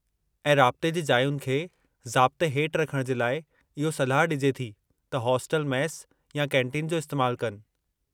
ऐं राब्ते जी जायुनि खे ज़ाब्ते हेठि रखण जे लाइ इहो सलाह ॾिजे थी त हॉस्टल मेस या कैंटीन जो इस्तेमालु कनि।